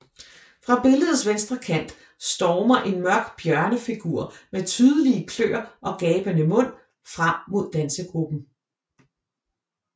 Fra billedets venstre kant stormer en mørk bjørnefigur med tydelige kløer og gabende mund frem mod dansegruppen